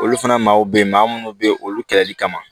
Olu fana maaw be yen maa munnu be yen olu kɛlɛli kama